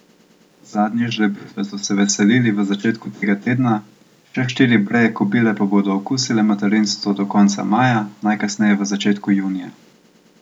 Zadnje žrebitve so se veselili v začetku tega tedna, še štiri breje kobile pa bodo okusile materinstvo do konca maja, najkasneje v začetku junija.